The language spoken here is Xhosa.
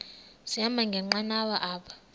sahamba ngenqanawa apha